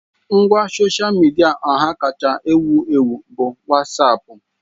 Ngwa sosha midia ọha kacha ewu ewu bụ Wasapu.